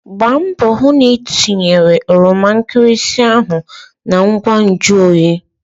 Gbaa mbọ hụ na itinyere oroma nkịrịsị ndị ahụ na ngwa nju oyi!